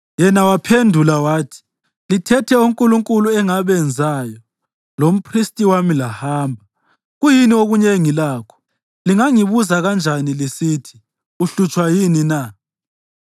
Yena waphendula wathi, “Lithethe onkulunkulu engabenzayo lomphristi wami, lahamba. Kuyini okunye engilakho? Lingangibuza kanjani lisithi, ‘Uhlutshwa yini na?’ ”